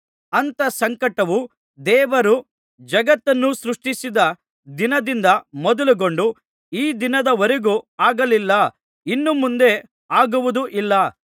ಅಂಥ ಸಂಕಟವು ದೇವರು ಜಗತ್ತನ್ನು ಸೃಷ್ಟಿಸಿದ ದಿನದಿಂದ ಮೊದಲುಗೊಂಡು ಈ ದಿನದವರೆಗೂ ಆಗಲಿಲ್ಲ ಇನ್ನು ಮುಂದೆ ಆಗುವುದೂ ಇಲ್ಲ